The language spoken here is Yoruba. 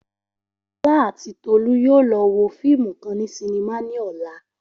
Ola ati Tolu yoo lọ wo fiimu kan ni sinima ni ọla.